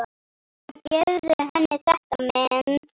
Og gefðu henni þetta men.